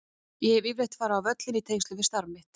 Ég hef yfirleitt farið á völlinn í tengslum við starf mitt.